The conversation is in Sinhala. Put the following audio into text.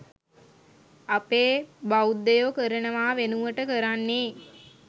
අපේ බෞද්ධයෝ කරනවා වෙනුවට කරන්නේ